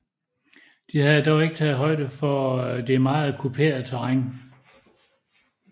De havde dog ikke taget højde for det meget kuperede terræn